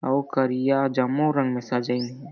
अउ करिया जम्मो रंग सजइन हे।